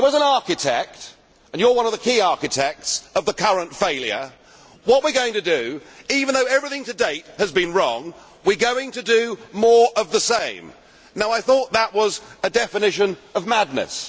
So, as an architect and you are one of the key architects of the current failure you say that even though everything to date has been wrong we are going to do more of the same. I thought that was a definition of madness.